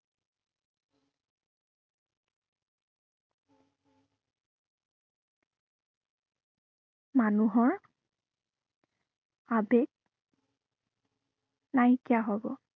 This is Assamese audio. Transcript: মানুহৰ আবেগ নাইকিয়া হব।